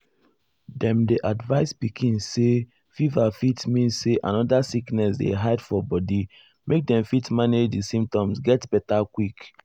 dem dey advise pikin say fever fit mean say another sickness dey hide for body make dem fit manage di symptoms get beta quick.